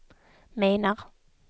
menar